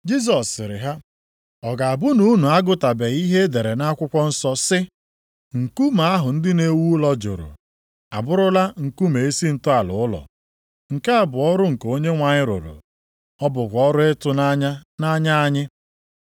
Jisọs sịrị ha, “Ọ ga-abụ na unu agụtabeghị ihe e dere nʼakwụkwọ nsọ sị, “ ‘Nkume ahụ ndị na-ewu ụlọ jụrụ, abụrụla nkume isi ntọala ụlọ. Nke a bụ ọrụ nke Onyenwe anyị rụrụ, ọ bụkwa ọrụ ịtụnanya nʼanya anyị.’ + 21:42 \+xt Abụ 118:22,23\+xt*